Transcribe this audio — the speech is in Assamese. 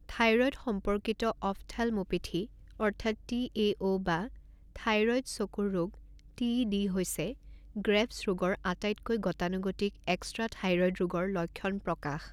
থাইৰয়ড সম্পৰ্কিত অফথালমোপেথী অৰ্থাৎ টি এ অ' বা থাইৰয়ড চকুৰ ৰোগ টি ই ডি হৈছে গ্ৰেভছ ৰোগৰ আটাইতকৈ গতানুগতিক এক্সট্ৰাথাইৰয়ড ৰোগৰ লক্ষণ প্ৰকাশ।